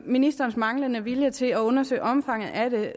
at ministerens manglende vilje til at undersøge omfanget af det